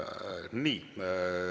Nii.